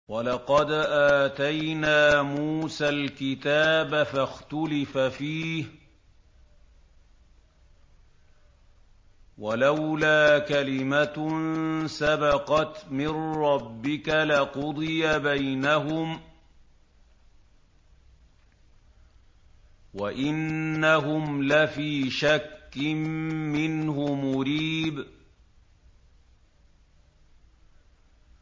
وَلَقَدْ آتَيْنَا مُوسَى الْكِتَابَ فَاخْتُلِفَ فِيهِ ۚ وَلَوْلَا كَلِمَةٌ سَبَقَتْ مِن رَّبِّكَ لَقُضِيَ بَيْنَهُمْ ۚ وَإِنَّهُمْ لَفِي شَكٍّ مِّنْهُ مُرِيبٍ